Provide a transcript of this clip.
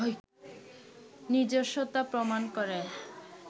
নিজস্বতা প্রমাণ করে